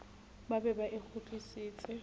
ba be ba e kgutlise